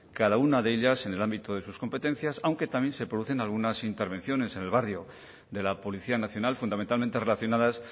cada una de ellas en el ámbito de sus competencias aunque también se producen algunas intervenciones en el barrio de la policía nacional fundamentalmente relacionadas